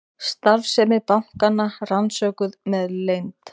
Starfsemi bankanna rannsökuð með leynd